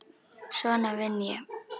Svona vinn ég.